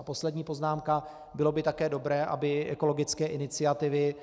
A poslední poznámka - bylo by také dobré, aby ekologické iniciativy